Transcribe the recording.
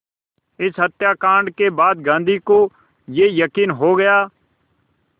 इस हत्याकांड के बाद गांधी को ये यक़ीन हो गया